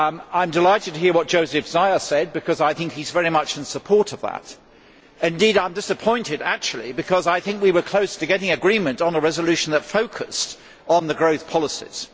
I am delighted to hear what József Szájer said because I think he is very much in support of that. Indeed I am disappointed, because I think we were close to getting agreement on a resolution that focused on the growth policies.